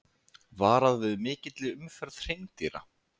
Varað við mikilli umferð hreindýra